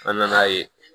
An nan'a ye